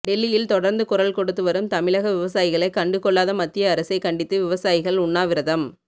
டெல்லியில் தொடர்ந்து குரல் கொடுத்து வரும் தமிழக விவசாயிகளை கண்டுக்கொள்ளாத மத்திய அரசை கண்டித்து விவசாயிகள் உண்ணாவிரதம்